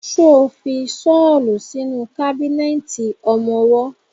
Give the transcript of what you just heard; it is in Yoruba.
Ṣo fi ṣọ́lù sínú kábínẹ̀tì ọmọwọ́?